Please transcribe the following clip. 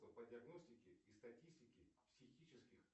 по диагностике и статистике психических